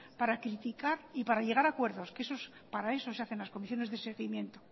para criticar y para llegar acuerdos para eso se hacen las comisiones de seguimiento